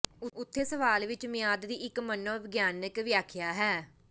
ਉੱਥੇ ਸਵਾਲ ਵਿੱਚ ਮਿਆਦ ਦੀ ਇੱਕ ਮਨੋਵਿਗਿਆਨਕ ਵਿਆਖਿਆ ਹੈ